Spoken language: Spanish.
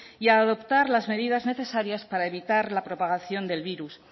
y a adoptar las medidas necesarias para evitar la propagación del virus